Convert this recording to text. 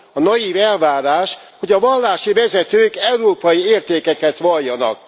A naiv elvárás, hogy a vallási vezetők európai értékeket valljanak.